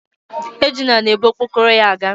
Ejuna na ebu okpokoro ya aga